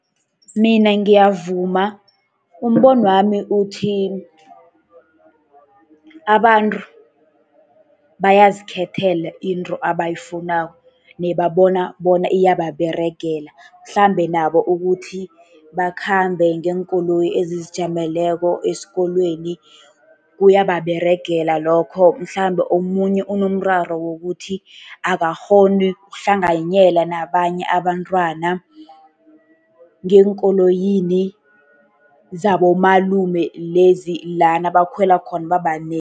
Mina ngiyavuma. Umbonwami uthi, abantu bayazikhethela into abayifunako, nebabona bona iyababeregela. Mhlambe nabo ukuthi bakhambe ngeenkoloyi ezizijameleko esikolweni kuyababeregela lokho, mhlambe omunye unomraro wokuthi akakghoni ukuhlanganyela nabanye abantwana ngeenkoloyini zabomalume, lezi lana bakhwela khona babanengi.